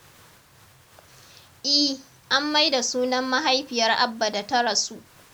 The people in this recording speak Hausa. I, an mai da sunan mahaifiyar Abba da ta rasu.